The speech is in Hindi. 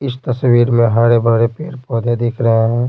इस तस्वीर में हरे भरे पेड़ पौधे दिख रहे है।